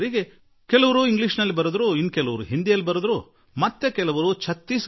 ಕೆಲವರು ಇಂಗ್ಲೀಷ್ ನಲ್ಲಿ ಬರೆದರು ಕೆಲವರು ಹಿಂದಿಯಲ್ಲಿ ಬರೆದರು ಇನ್ನೂ ಕೆಲವರು ಛತ್ತೀಸ್ ಗಢಿಯಲ್ಲಿ ಬರೆದರು